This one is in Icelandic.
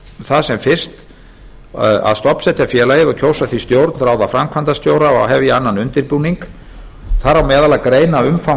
það sem fyrst að stofnsetja félagið kjósa því stjórn ráða framkvæmdastjóra og hefja annan undirbúning þar á meðal að greina umfang